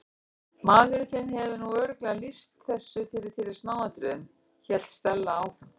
Maðurinn þinn hefur nú örugglega lýst þessu fyrir þér í smáatriðum- hélt Stella áfram.